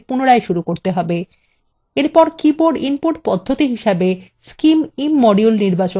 এরপর keyboard input পদ্ধতি হিসেবে scimimmodule নির্বাচন করুন